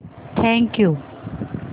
thank you